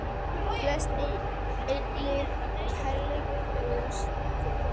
felst einnig kærleikur Guðs þér til handa.